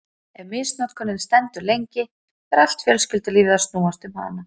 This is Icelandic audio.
Ef misnotkunin stendur lengi fer allt fjölskyldulífið að snúast um hana.